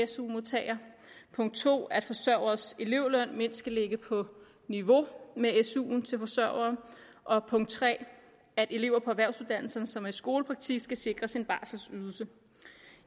su modtagere punkt to at forsørgeres elevløn mindst skal ligge på niveau med su’en til forsørgere og punkt tre at elever på erhvervsuddannelserne som er i skolepraktik skal sikres en barselydelse